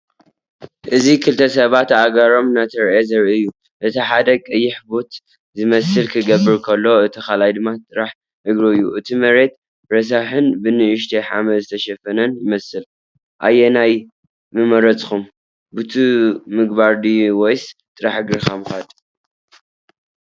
እዚ ክልተ ሰባት እግሮም እናተራእየ ዘርኢ እዩ። እቲ ሓደ ቀይሕ ቡት ዝመስል ክገብር ከሎ፡ እቲ ካልኣይ ድማ ጥራይ እግሩ እዩ። እቲ መሬት ረሳሕን ብንእሽቶ ሓመድ ዝተሸፈነን ይመስል። ኣየናይ ምመረጽካ፣ ቡት ምግባር ድዩ ወይስ ጥራይ እግርኻ ምኻድ?